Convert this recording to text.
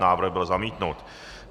Návrh byl zamítnut.